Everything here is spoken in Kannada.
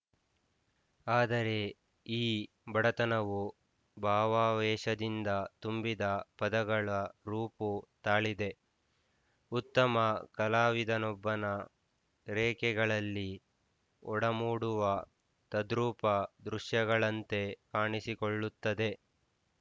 ಆದರೆ ಈ ಬಡತನವು ಭಾವಾವೇಷದಿಂದ ತುಂಬಿದ ಪದಗಳ ರೂಪು ತಾಳಿದೆ ಉತ್ತಮ ಕಲಾವಿದನೊಬ್ಬನ ರೇಖೆಗಳಲ್ಲಿ ಒಡಮೂಡುವ ತದ್ರೂಪ ದೃಶ್ಯಗಳಂತೆ ಕಾಣಿಸಿಕೊಳ್ಳುತ್ತದೆ